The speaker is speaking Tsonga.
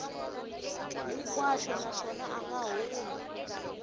hinkwaxo naswona a nga humi